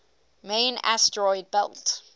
main asteroid belt